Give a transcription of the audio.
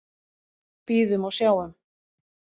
Bíðum og sjáum.